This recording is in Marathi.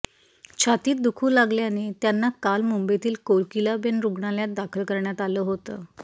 छातीत दुखू लागल्याने त्यांना काल मुंबईतील कोकिलाबेन रुग्णालयात दाखल करण्यात आलं होतं